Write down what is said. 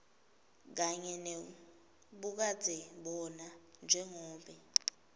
kanye nebukadzebona njengobe